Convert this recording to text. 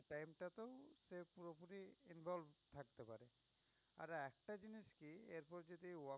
involve থাকতে পারে। আর একটা জিনিস কি এর পর যদি